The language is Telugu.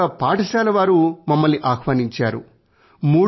అక్కడ ఒక పాఠశాల వారు మమ్మల్ని ఆహ్వానించారు